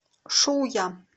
шуя